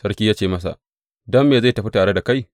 Sarki ya ce masa, Don me zai tafi tare da kai?